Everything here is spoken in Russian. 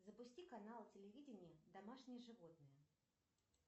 запусти канал телевидения домашние животные